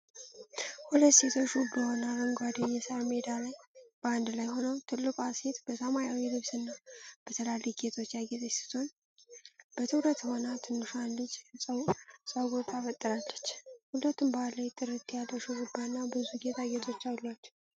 ሁለት ሴቶች ውብ በሆነ አረንጓዴ የሳር ሜዳ ላይ በአንድ ላይ ሆነው፣ ትልቋ ሴት በሰማያዊ ልብስና በትላልቅ ጌጦች ያጌጠች ስትሆን፣ በትኩረት ሆና ትንሿን ልጅ ፀጉር ታበጥራለች። ሁለቱም ባህላዊ ጥለት ያለው ሹሩባና ብዙ ጌጣጌጦች አሏቸው።